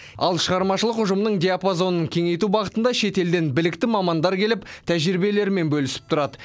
ал шығармашылық ұжымның диапазонын кеңейту бағытында шетелден білікті мамандар келіп тәжірибелерімен бөлісіп тұрады